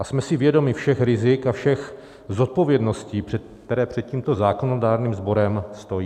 A jsme si vědomi všech rizik a všech zodpovědností, které před tímto zákonodárným sborem stojí.